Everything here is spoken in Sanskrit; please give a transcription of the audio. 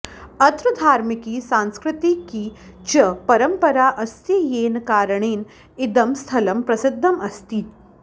अत्र धार्मिकी सांस्कृतिकी च परम्परा अस्ति येन कारणेन इदं स्थलम् प्रसिद्धम् अस्ति